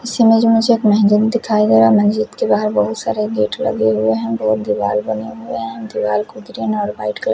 मस्जिद में जो मुझे एक महिला दिखाया गया मस्जिद के बाहर बहुत सारे गेट लगे हुए हैं बहुत दिवाल बने हुए हैं दिवाल को ग्रीन और व्हाइट --